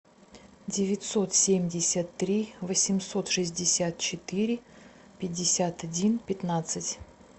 девятьсот семьдесят три восемьсот шестьдесят четыре пятьдесят один пятнадцать